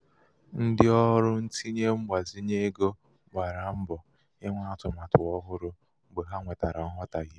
ndị ọrụ ntinye mgbazinye egogbara mbọ inwe atụmatụ ọhụrụ mgbe ha nwetara nghọtahie.